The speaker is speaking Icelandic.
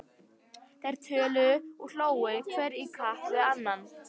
Þeir töluðu og hlógu hver í kapp við annan.